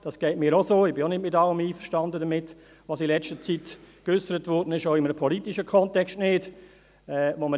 Mir geht es auch so, ich bin auch nicht mit allem einverstanden, was in letzter Zeit, auch im politischen Kontext, geäussert wurde.